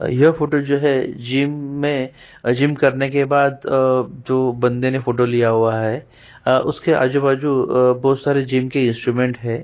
यह फोटो जो है जीम मे जिम करने के बाद आ जो बन्दे ने फोटो लिया हुआ है उसके आजु-बाजु बहुत सारे जिम के इन्स्टूमेंट है।